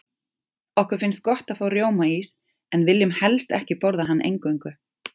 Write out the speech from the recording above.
Okkur finnst gott að fá rjómaís, en viljum helst ekki borða hann eingöngu.